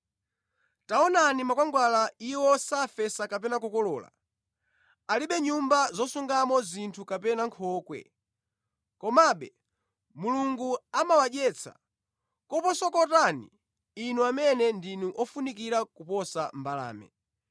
Taonani makwangwala: iwo safesa kapena kukolola, alibe nyumba zosungamo zinthu kapena nkhokwe; komabe, Mulungu amawadyetsa. Koposa kotani inu amene ndi ofunikira kuposa mbalame.